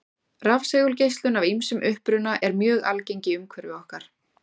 Rafsegulgeislun af ýmsum uppruna er mjög algeng í umhverfi okkar.